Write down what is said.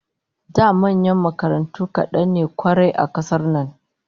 Da manyan makarantu kadan ne kwarai a kasar nan